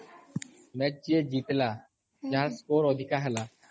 match ଯିଏ ଜିତିଲା ଯାହା ସ୍କୋର୍ ଅଧିକା ହେଲା